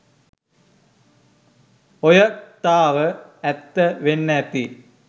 ඔය ක්තාව ඇත්ත වෙන්න ඇති